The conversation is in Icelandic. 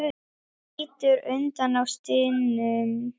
Hann lítur undan og stynur.